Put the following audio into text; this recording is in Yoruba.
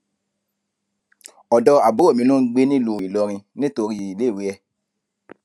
ọdọ àbúrò mi ló ń gbé nílùú ilorin nítorí iléèwé ẹ